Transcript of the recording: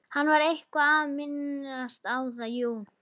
Hann var eitthvað að minnast á það, jú.